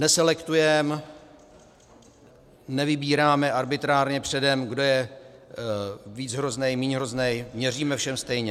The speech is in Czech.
Neselektujeme, nevybíráme arbitrárně předem, kdo je víc hrozný, míň hrozný, měříme všem stejně.